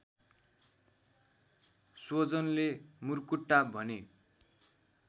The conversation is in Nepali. स्वजनले मुर्कुट्टा भने